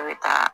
A bɛ taa